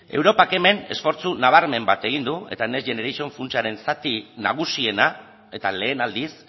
europak hemen esfortzu nabarmen bat egingo du eta next generation funtsaren zati nagusiena eta lehen aldiz